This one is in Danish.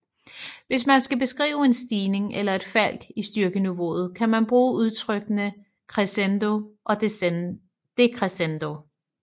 Hvis man skal beskrive en stigning eller et fald i styrkeniveauet kan man bruge udtrykkene crescendo og decrescendo